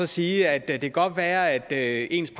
sige at det kan godt være at ens